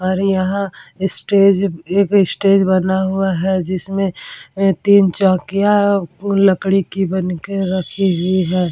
और यहाँ स्टेज एक स्टेज बना हुआ है जिसमें तीन चौकियां है लकड़ी की बन के रखी हुई है।